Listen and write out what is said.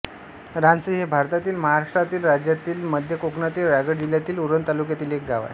रानसई हे भारतातील महाराष्ट्र राज्यातील मध्य कोकणातील रायगड जिल्ह्यातील उरण तालुक्यातील एक गाव आहे